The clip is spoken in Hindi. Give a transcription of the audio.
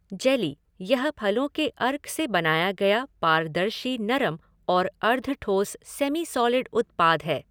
जेली यह फलों के अर्क से बनाया गया पारदर्शी नरम और अर्द्धठोस सेमी सॉलिड उत्पाद है।